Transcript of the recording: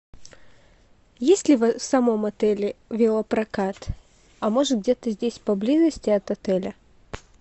есть ли в самом отеле велопрокат а может где то здесь поблизости от отеля